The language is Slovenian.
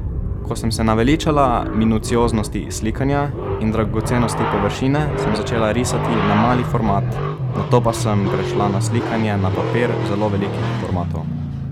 Ko sem se naveličala minucioznosti slikanja in dragocenosti površine, sem začela risati na mali format, nato pa sem prešla na slikanje na papir zelo velikih formatov.